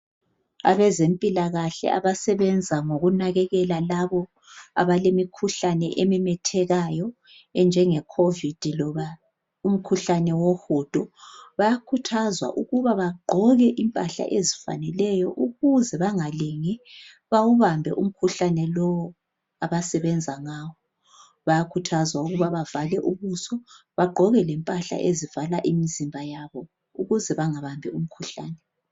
Abezempilakahle abasebenza ngokunakekela labo abalemikhuhlane ememethekayo enjengeCovid loba umkhuhlane wohudo bayakhuthazwa ukuba bagqoke impahla ezifaneleyo ukuze bangalingi bawubambe umkhuhlane lowu abasebenza ngawo. Bayakhuthazwa ukuba bavale ubuso bagqoke lempahla ezivala imizimba yabo ukuze bengabambi imikhuhlane.